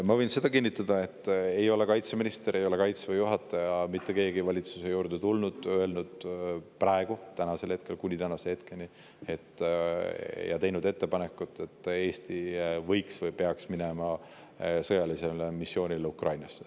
Ma võin kinnitada seda, et ei kaitseminister, Kaitseväe juhataja ega mitte keegi ei ole kuni tänaseni valitsusse tulnud ja teinud ettepanekut, et Eesti võiks minna või peaks minema sõjalisele missioonile Ukrainas.